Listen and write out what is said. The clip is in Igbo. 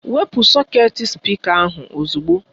Kwụpụ sọketi spịka ahụ ozugbo!